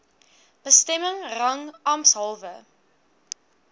bestemming rang ampshalwe